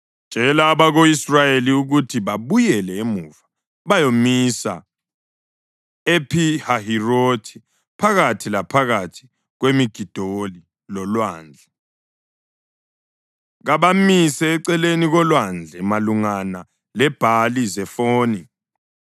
“Tshela abako-Israyeli ukuthi babuyele emuva bayomisa ePhi-Hahirothi phakathi laphakathi kweMigidoli lolwandle. Kabamise eceleni kolwandle malungana leBhali-Zefoni.